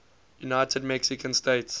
united mexican states